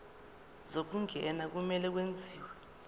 zokungena kumele kwenziwe